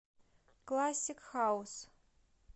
классик хаус